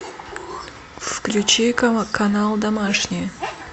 включи канал домашний